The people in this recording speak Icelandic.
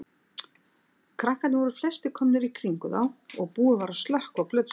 Krakkarnir voru flestir komnir í kringum þá og búið var að slökkva á plötuspilaranum.